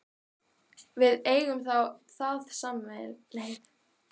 Við eigum það þá sameiginlegt, segir hún.